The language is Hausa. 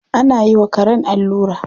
Ana yi wa karen allura.